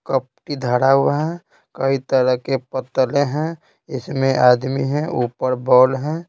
कपटी धड़ा हुआ है कई तरह के पतले हैं इसमें आदमी हैं ऊपर बॉल है।